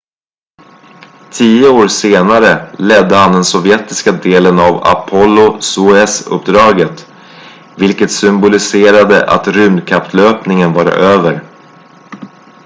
tio år senare ledde han den sovjetiska delen av apollo-soyuz-uppdaget vilket symboliserade att rymdkapplöpningen var över